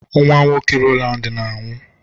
Nwa nwoke Rowland na-anwụ.